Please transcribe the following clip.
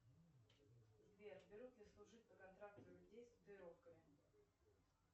сбер берут ли служить по контракту людей с татуировками